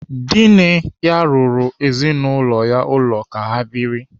Dinne ya rụrụ ezinaụlọ ya ụlọ ka ha biri.